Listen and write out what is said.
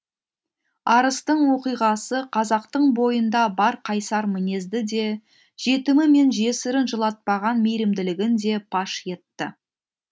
арыстың оқиғасы қазақтың бойында бар қайсар мінезді де жетімі мен жесірін жылатпаған мейірімділігін де паш етті